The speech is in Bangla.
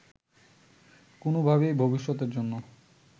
কোনোভাবেই ভবিষ্যতের জন্য